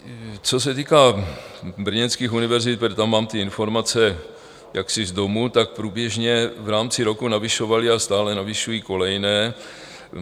Co se týká brněnských univerzit, tak tam mám ty informace jaksi z domu, tak průběžně v rámci roku navyšovaly a stále navyšují kolejné.